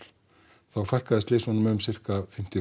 þá fækkaði slysunum um sirka fimmtíu